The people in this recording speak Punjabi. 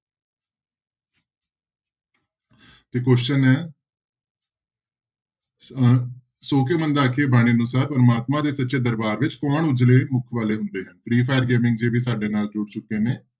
ਤੇ question ਹੈ ਅਹ ਸੌ ਕਿਉਂ ਮੰਦਾ ਆਖੀਐ ਬਾਣੀ ਅਨੁਸਾਰ ਪ੍ਰਮਾਤਮਾ ਦੇ ਸੱਚੇ ਦਰਬਾਰ ਵਿੱਚ ਕੌਣ ਉੱਜਲੇ ਮੁੱਖ ਵਾਲੇ ਹੁੰਦੇ ਹਨ ਜੀ ਵੀ ਸਾਡੇ ਨਾਲ ਜੁੜ ਚੁੱਕੇ ਨੇ।